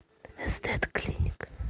эстет клиник